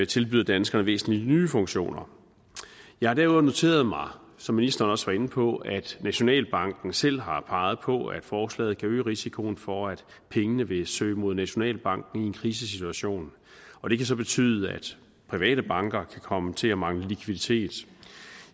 tilbyder danskerne væsentlige nye funktioner jeg har derudover noteret mig som ministeren også var inde på at nationalbanken selv har peget på at forslaget kan øge risikoen for at pengene vil søge mod nationalbanken i en krisesituation og det kan så betyde at private banker kan komme til at mangle likviditet